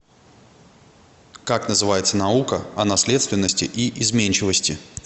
как называется наука о наследственности и изменчивости